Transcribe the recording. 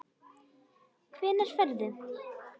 Hvenær ferðu?